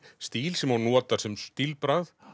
stíl sem hún notar sem stílbragð